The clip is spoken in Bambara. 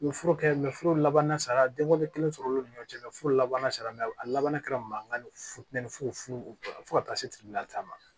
U ye fura kɛ furu laban sara denw de sɔrɔ l'o ni ɲɔgɔn cɛ furu labanna sara laban kɛra mankan ni futɛni fufu u fo ka taa se taama